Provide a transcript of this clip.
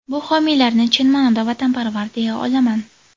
Bu homiylarni chin ma’noda vatanparvar deya olaman.